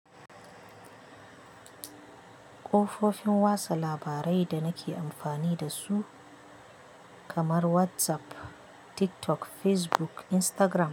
Kofofin watsa labarai da nake amfani da su kamar WhatsApp, TikTok, Facebook, Instagram.